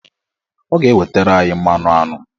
Ọ ga-ewetara anyị mmanụaṅụ.